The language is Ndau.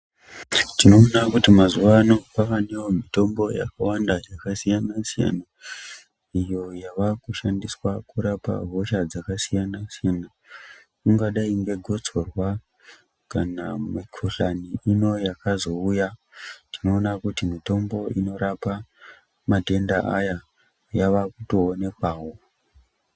Tinoona kuti mazuwano kwawanewo mitombo yakasiyana siyana, iyo yavakushandiswa kurapa hosha dzakasiyana siyana, ingadai ngegotsorwa, kana mikoshani ino yakazouya, tinoona kuti mitombo inorapa matende aya, yava kutoonekwawo